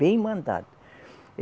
Bem mandado.